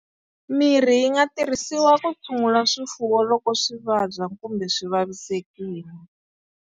Mirhi yi nga tirhisiwa ku tshungula swifuwo loko swi vabya kumbe swi vavisekile.